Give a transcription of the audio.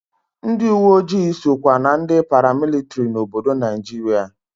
Ndị uweojii sokwa na ndị paramilitiri n'obodo Naijiria.